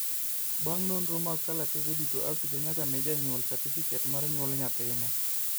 bang nonro mag kalatase duto afisa nyaka mi janyuol satifiket mar nyuol nyathine